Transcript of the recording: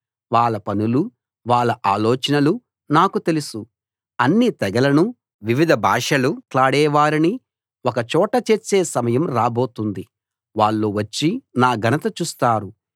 వాళ్ళ పనులూ వాళ్ళ ఆలోచనలూ నాకు తెలుసు అన్ని తెగలనూ వివిధ భాషలు మాట్లాడే వారినీ ఒక చోట చేర్చే సమయం రాబోతుంది వాళ్ళు వచ్చి నా ఘనత చూస్తారు